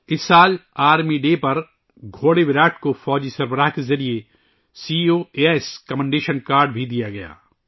اس سال گھوڑے وِراٹ کو آرمی چیف نے آرمی ڈے پر سی او اے ایس ستائشی کارڈ بھی دیا تھا